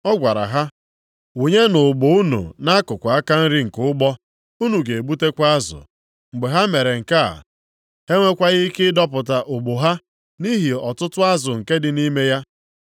Ọ gwara ha, “Wụnyenụ ụgbụ unu nʼakụkụ aka nri nke ụgbọ. Unu ga-egbutekwa azụ.” Mgbe ha mere nke a, ha enwekwaghị ike ịdọpụta ụgbụ ha, nʼihi ọtụtụ azụ nke dị nʼime ya.